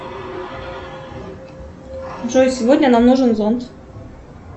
джой сегодня нам нужен зонт